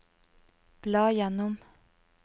bla gjennom